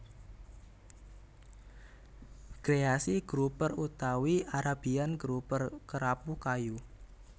Greasy Grouper utawi Arabian Grouper Kerapu kayu